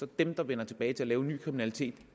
dem der vender tilbage til at begå ny kriminalitet